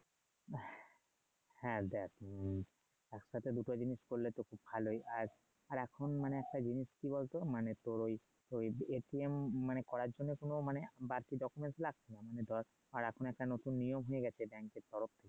হ্যাঁ দেখ উম একসাথে দুটো জিনিস করলে তো ভালোই আর আর এখন মানে একটা জিনিস কি বল তো মানে তোর ওই ওই করার জন্য কোন মানে বাড়তি লাগতে পারে ধর আর এখন একটা নতুন নিয়ম হয়ে গেছে এ